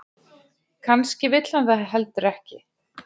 Kannski vill hann það heldur ekki.